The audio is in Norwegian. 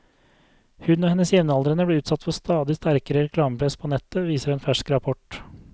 Hun og hennes jevnaldrende blir utsatt for stadig sterkere reklamepress på nettet, viser en fersk rapport.